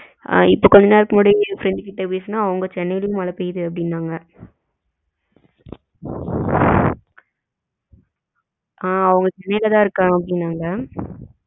ஆ இப்ப கொஞ்ச நேரத்துக்கு முன்னாடி இன்னொரு friend கிட்ட பேசுனேன் சென்னைலையும் மழை பெய்யுது அப்படின்னாங்க அஹ் அவங்க சென்னைலதான் இருக்கேன் அப்படினங்க